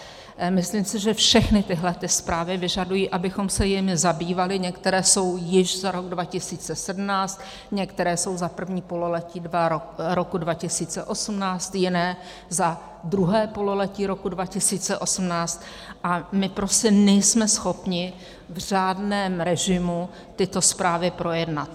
Myslím si, že všechny tyhle zprávy vyžadují, abychom se jimi zabývali, některé jsou již za rok 2017, některé jsou za první pololetí roku 2018, jiné za druhé pololetí roku 2018, a my prostě nejsme schopni v řádném režimu tyto zprávy projednat.